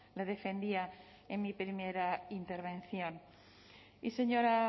le defendía en mi primera intervención y señora